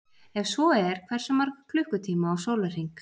Ef svo er hversu marga klukkutíma á sólarhring?